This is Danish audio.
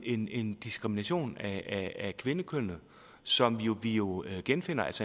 en en diskrimination af kvindekønnet som vi jo genfinder